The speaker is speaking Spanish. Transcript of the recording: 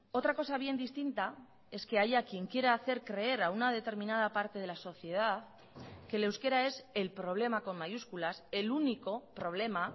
otra cosa bien distinta es que haya quien quiera hacer creer a una determinada parte de la sociedad que el euskera es el problema con mayúsculas el único problema